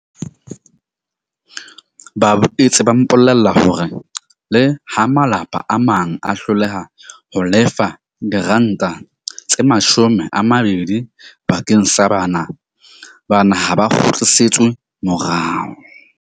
Ba boetse ba mpolella hore leha malapa a mang a hloleha ho lefa R20 bakeng sa bana, bana ha ba kgutlisetswe morao.